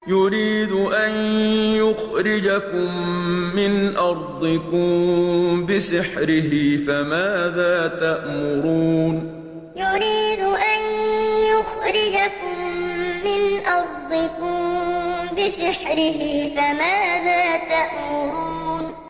يُرِيدُ أَن يُخْرِجَكُم مِّنْ أَرْضِكُم بِسِحْرِهِ فَمَاذَا تَأْمُرُونَ يُرِيدُ أَن يُخْرِجَكُم مِّنْ أَرْضِكُم بِسِحْرِهِ فَمَاذَا تَأْمُرُونَ